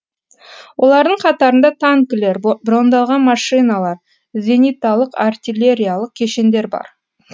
олардың қатарында танкілер брондалған машинадар зениталық артиллериялық кешендер бар